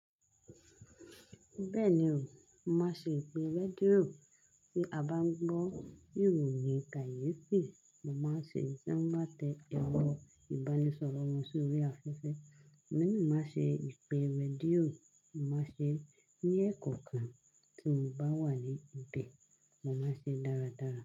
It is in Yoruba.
Bẹ́ẹ̀ni o, màá ṣe ìpè rédíò tí a bá ń gbọ́ ìròyìn kàyééfì, mo máa ń ṣe tí wọ́n bá tẹ erọ ìbánisọ̀rọ̀ wọn sórí afẹ́fẹ́. Èmi na màá ṣe ìpè rédíò, mo màá ṣe ní èèkokàn tí mo bá wà ní ibi, mo máa ṣe dáradára.